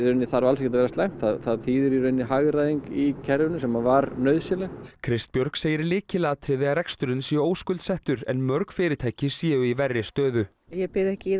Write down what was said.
þarf alls ekki að vera slæmt það þýðir hagræðingu í kerfinu sem var nauðsynleg Kristbjörg segir lykilatriði að reksturinn sé óskuldsettur en mörg fyrirtæki séu í verri stöðu ég byði ekki í